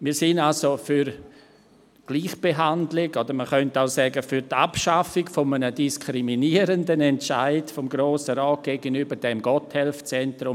Wir sind also für Gleichbehandlung, oder man könnte auch sagen: für die Abschaffung eines diskriminierenden Entscheids des Grossen Rats gegenüber diesem Gotthelf-Zentrum.